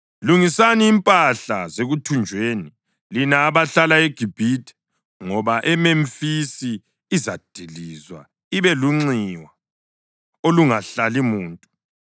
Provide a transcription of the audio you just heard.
Lungisani impahla zekuthunjweni, lina abahlala eGibhithe, ngoba iMemfisi izadilizwa ibe lunxiwa olungahlali muntu.